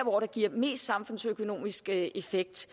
hvor det giver mest samfundsøkonomisk effekt